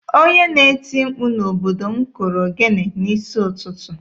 Onye na-eti mkpu n'obodo m kụrụ ogene n'isi ụtụtụ.